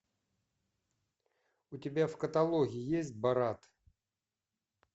у тебя в каталоге есть борат